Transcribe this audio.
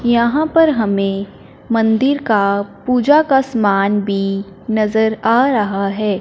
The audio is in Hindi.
यहां पर हमें मंदिर का पूजा का समान भी नजर आ रहा है।